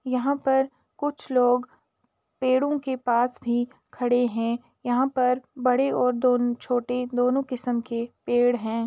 यहाँ पर कुछ लोग पेड़ों के पास भी खड़े हैं। यहाँ पर बड़े और दो छोटे दोनों किस्म के पेड़ हैं।